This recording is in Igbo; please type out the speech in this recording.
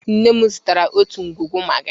Nne m zụtara otu ngwugwu magi.